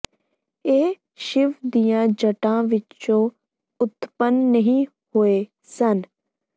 ਇਹ ਸ਼ਿਵ ਦੀਆਂ ਜੱਟਾਂ ਵਿਚੋਂ ਉਤਪੰਨ ਨਹੀਂ ਹੋਏ ਸਨ